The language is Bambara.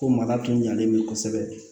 Ko mara tun ɲalen bɛ kosɛbɛ